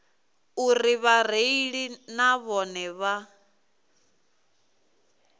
uri vhareili na vhone vha